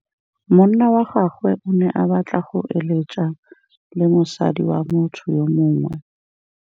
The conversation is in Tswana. Monna wa gagwe o ne a batla go êlêtsa le mosadi wa motho yo mongwe.